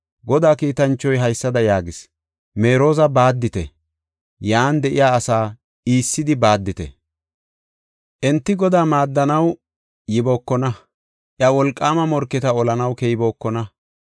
Godaa kiitanchoy haysada yaagis; “Merooza baaddite! Yan de7iya asaa iissidi baaddite! Enti Godaa maaddanaw yibookona; iya wolqaama morketa olanaw keybookona.”